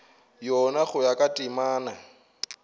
yona go ya ka temana